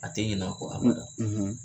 A tɛ ɲin'a kɔ abada